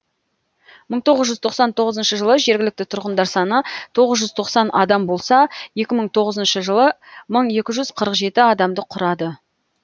мың тоғыз жүз тоқсан тоғызыншы жылы жергілікті тұрғындар саны тоғыз жүз тоқсан адам болса екі мың тоғызыншы жылы мың екі жүз қырық жеті адамды құрады